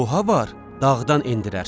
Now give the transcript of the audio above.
Oha var, dağdan endirər.